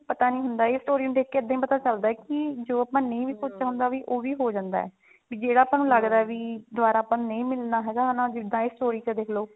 ਪਤਾ ਨੀ ਹੁੰਦਾ ਇਹ story ਨੂੰ ਦੇਖ ਕੇ ਇੱਦਾਂ ਹੀ ਪਤਾ ਚਲਦਾ ਕੀ ਜੋ ਆਪਾਂ ਨਹੀ ਵੀ ਸੋਚਿਆ ਉਹ ਵੀ ਹੋ ਜਾਂਦਾ ਵੀ ਜਿਹੜਾ ਨੂੰ ਲੱਗਦਾ ਵੀ ਦੁਬਾਰਾ ਆਪਾਂ ਨੂੰ ਨਹੀ ਮਿਲਣਾ ਹੈਗਾ ਜਿੱਦਾਂ ਇਹ story ਕਦੇ ਲੋਕ